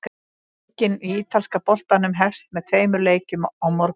Helgin í ítalska boltanum hefst með tveimur leikjum á morgun.